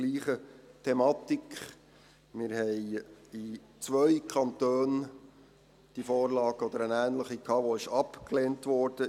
Wir hatten in 2 Kantonen diese oder eine ähnliche Vorlage, die abgelehnt wurde.